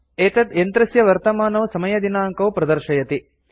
एतत् यन्त्रस्य वर्तमानौ समयदिनाङ्कौ प्रदर्शयति